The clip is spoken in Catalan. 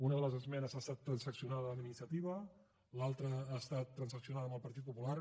una de les esmenes ha estat transaccionada amb iniciativa l’altra ha estat transaccionada amb el partit popular